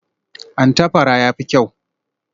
An tafara, ya fi kyau?